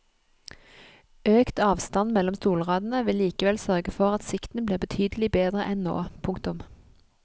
Økt avstand mellom stolradene vil likevel sørge for at sikten blir betydelig bedre enn nå. punktum